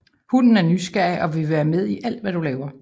Hunden er nysgerrig og vil være med i alt hvad du laver